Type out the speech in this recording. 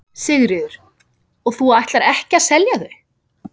Sigríður: Og þú ætlar ekki að selja þau?